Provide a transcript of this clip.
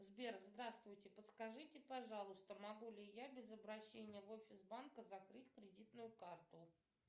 сбер здравствуйте подскажите пожалуйста могу ли я без обращения в офис банка закрыть кредитную карту